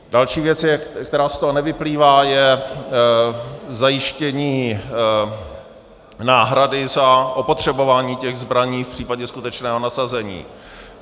Další věc, která z toho nevyplývá, je zajištění náhrady za opotřebování těch zbraní v případě skutečného nasazení.